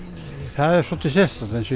það er svolítið sérstakt eins